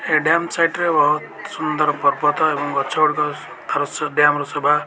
ଏ dam site ରେ ବୋହୁତ୍ ସୁନ୍ଦର ପର୍ବତ ଏବଂ ଗଛ ଗୁଡିକର ଆର ସ ଡ୍ୟାମ୍ ର ଶୋଭା --